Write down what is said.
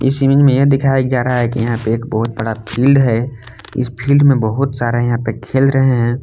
इस इमेज में यह दिखाया जा रहा है कि यहां पे एक बहोत बड़ा फील्ड है इस फील्ड में बहोत सारा यहां पे खेल रहे हैं।